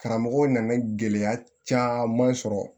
Karamɔgɔw nana gɛlɛya caman sɔrɔ